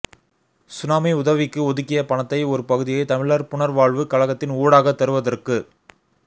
tsunami உதவிக்கு ஒதுக்கிய பணத்தை ஒரு பகுதியை தமிழர் புனர்வாழ்வு கழகத்த்தின் ஊடாக தருவத்துக்கு